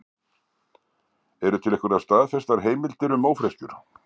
eru til einhverjar staðfestar heimildir um ófreskjur